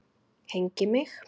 Hneigi mig.